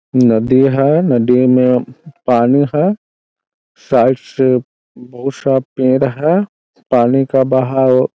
नदी है नदी में पानी है साइड से बहुत सा पेड़ है पानी का बहाव--